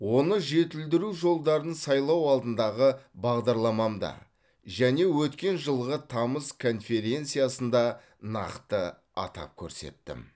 оны жетілдіру жолдарын сайлау алдындағы бағдарламамда және өткен жылғы тамыз конференциясында нақты атап көрсеттім